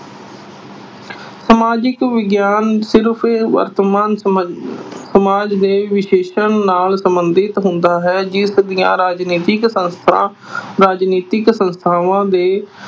ਸਮਾਜਿਕ ਵਿਗਿਆਨ ਕਿ ਵਰਤਮਾਨ ਸਮਾਜ ਦੇ ਨਾਲ ਸਬੰਧਤ ਹੁੰਦਾ ਹੈ ਜਿਸ ਦੀਆਂ ਰਾਜਨੀਤਿਕ ਸੰਸਥਾ ਅਹ ਰਾਜਨੀਤਿਕ ਸੰਸਥਾਵਾਂ ਦੇ